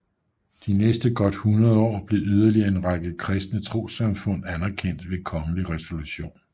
De næste godt hundrede år blev yderligere en række kristne trossamfund anerkendt ved kongelig resolution